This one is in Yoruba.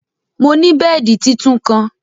Mò ni bẹẹdi títún kan.